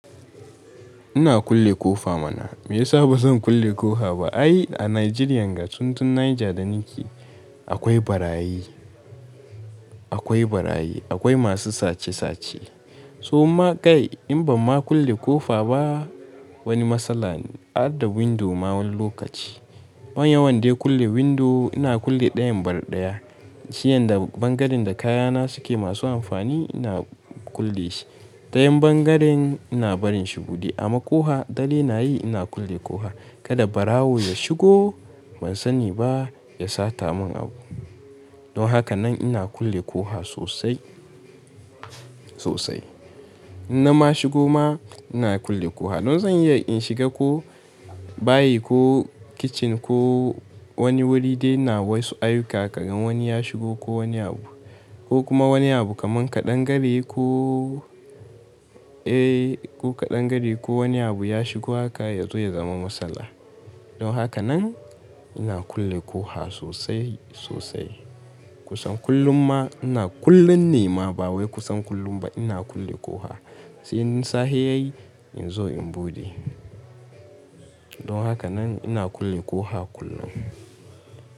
Ina kulle ƙofa mana. Me yasa ba zan kulle ƙofa ba? Ai a Najeriya, ga tuntun Niger da ni ke, akwai ɓarayi, akwai ɓarayi, akwai masu sache-sache. So ma kai in ba ma kulle ƙofa ba wani matsala, adda windo ma wani lokaci. Ban yawan dai kulle windo ina kulle ɗayan bal ɗaya. Si yanda bangaren da kayana suke masu amfani ina kulle shi. Dayan bangaren ina barin shi buɗe. Amma ƙoha, dalilin na yi ina kulle ƙoha. Kada ɓarawo ya shigo ban sani ba ya sata mun abu. Don haka nan ina kulle ƙoha sosai, sosai. In na ma shigo ma ina kulle ƙoha. Don zan iya in shiga ko bayi ko kicin ko wani wuri dai na wasu ayyuka. Karan wani ya shigo ko wani abu ko kuma wani abu kamar kaɗangare ko, eh, ko kaɗangare ko wani abu ya shigo haka ya zo ya zama matsala. Don haka nan ina kulle ƙoha sosai, sosai. Kusan kullum ma ina kullum ne ma ba wai kusan kullum ba ina kulle ƙoha. In sahe ya yi in zo in buɗe. Don haka nan ina kulle ƙoha kullum.